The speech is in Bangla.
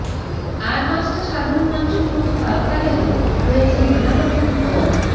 আর পাঁচটা সাধারণ মানুষের মতো তারকাদেরও রয়েছে নানা রকম বদ